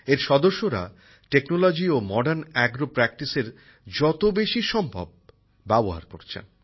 এর সদস্যরা প্রযুক্তি ও আধুনিক কৃষিকাজের নানা পন্থাপদ্ধতি যত বেশি সম্ভব ব্যবহার করছেন